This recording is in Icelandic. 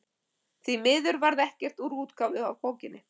Því miður varð ekkert úr útgáfu á bókinni.